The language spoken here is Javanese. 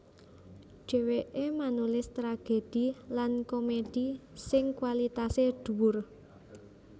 Dhèwèké manulis tragedhi lan komedhi sing kwalitasé dhuwur